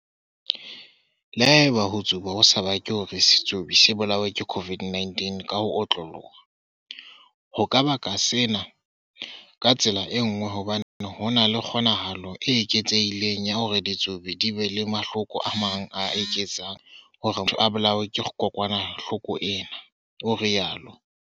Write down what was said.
"Le haeba ho tsuba ho sa bake hore setsubi se bolawe ke COVID-19 ka ho otloloha, ho ka baka sena ka tsela e nngwe hobane ho na le kgo-nahalo e eketsehileng ya hore ditsubi di be le mahloko a mang a ka etsang hore motho a bolawe ke kokwanahloko ena," o rialo.